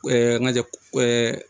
ŋa jɛ